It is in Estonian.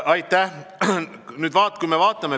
Aitäh!